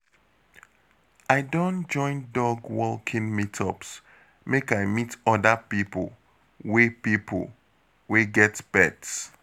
I don join dog walking meetups make I meet oda pipo wey pipo wey get pet